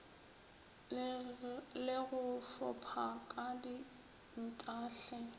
le go fopha ka dintahle